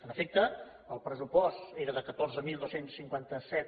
en efecte el pressupost era de catorze mil dos cents i cinquanta set